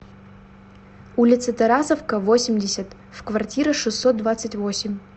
улица тарасовка восемьдесят в квартира шестьсот двадцать восемь